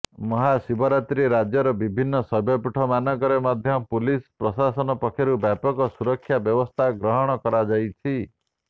ମହାଶିବରାତ୍ରି ରାଜ୍ୟର ବିଭିନ୍ନ ଶୈବପୀଠ ମାନଙ୍କରେ ମଧ୍ୟ ପୁଲିସ ପ୍ରାଶାସନ ପକ୍ଷରୁ ବ୍ୟାପକ ସୁରକ୍ଷା ବ୍ୟବସ୍ଥାର ଗ୍ରହଣ କରାଯାଇଛି